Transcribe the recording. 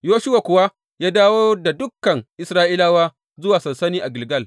Yoshuwa kuwa ya dawo da dukan Isra’ilawa zuwa sansani a Gilgal.